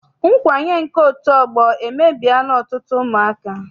Nkwanye nke otu ọgbọ emebiela ọtụtụ ụmụaka.